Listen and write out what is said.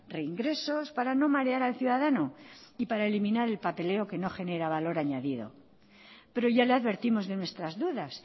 reingresos para no marear al ciudadano y para eliminar el papeleo que no genera valor añadido pero ya le advertimos de nuestras dudas